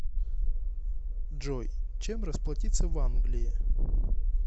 джой чем расплатиться в англии